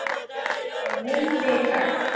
Það leið vika.